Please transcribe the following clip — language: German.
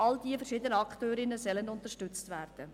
All diese verschiedenen Akteurinnen sollen unterstützt werden.